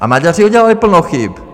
A Maďaři udělali plno chyb.